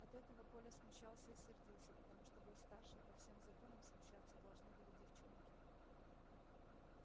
от этого коля смущался и сердился потому что был старше и по всем законам смущаться должны были девчонки